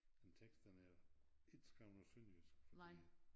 En tekst den er ikke skrevet på sønderjysk fordi